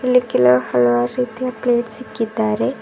ಇಲ್ಲಿ ಕೆಲವು ಹಲವಾರು ರೀತಿಯ ಪ್ಲೇಟ್ಸ್ ಇಕ್ಕಿದಾರೆ.